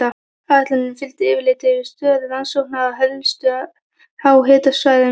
Áætluninni fylgdi yfirlit yfir stöðu rannsókna á helstu háhitasvæðum.